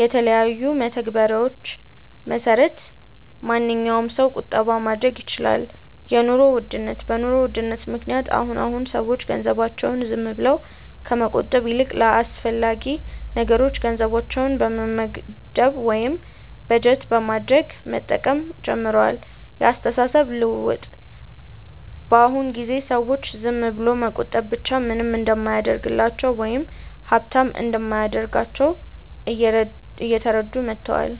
የተለያዩ መተግበሪያዎች መሰረት ማንኛዉም ሰው ቁጠባ ማድረግ ይችላል 2. የኑሮ ውድነት፦ በ ኑሮ ውድነት ምክንያት አሁን አሁን ሰዎች ገንዘባቸውን ዝም ብለው ከመቆጠብ ይልቅ ለአስፈላጊ ነገሮች ገንዘባቸውን በመመደብ ወይም በጀት በማድረግ መጠቀም ጀምረዋል 3. የ አስተሳሰብ ለውጥ፦ በ አሁን ጊዜ ሰዎች ዝም ብሎ መቆጠብ ብቻ ምንም እንደማያደርግላቸው ወይም ሃብታም እንደማያደርጋቸው እየተረዱ መተዋል